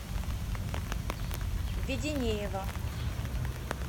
веденеева